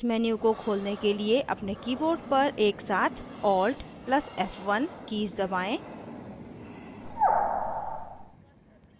इस menu को खोलने के लिए अपने keyboard पर एकसाथ alt + f1 कीज़ दबाएं